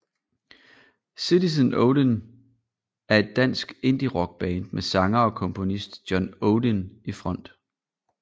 Citizen Odin er et dansk indierock band med sanger og komponist John Odin i front